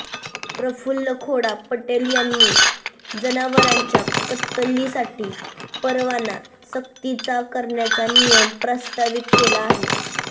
प्रफुल्ल खोडा पटेल यांनी जनावरांच्या कत्तलीसाठी परवाना सक्तीचा करण्याचा नियम प्रस्तावित केला आहे